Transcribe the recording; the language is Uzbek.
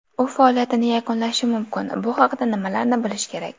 U faoliyatini yakunlashi mumkin: Bu haqda nimalarni bilish kerak?.